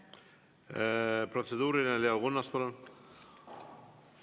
Protseduuriline, Leo Kunnas, palun!